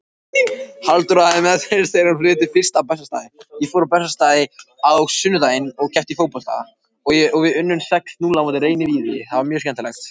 Halldóra hafði meðferðis þegar hún flutti fyrst á Bessastaði.